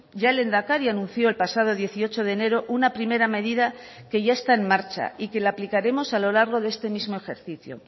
ya el lehendakari anunció el pasado dieciocho de enero una primera medida que ya está en marcha y que la aplicaremos a lo largo de este mismo ejercicio